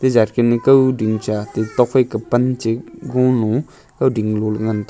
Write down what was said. kawding cha ate tokphai ke pan che gog low kawding le ngan tega.